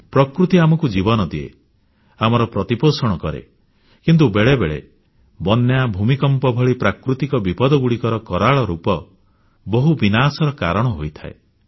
ପ୍ରକୃତି ଆମକୁ ଜୀବନ ଦିଏ ଆମର ପ୍ରତିପୋଷଣ କରେ କିନ୍ତୁ ବେଳେବେଳେ ବନ୍ୟା ଭୂମିକମ୍ପ ଭଳି ପ୍ରାକୃତିକ ବିପଦଗୁଡ଼ିକର କରାଳ ରୂପ ବହୁତ ବିନାଶର କାରଣ ହୋଇଥାଏ